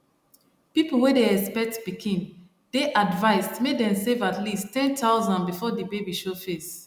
people wey dey expect pikin dey advised make dem save at least 10000 before di baby show face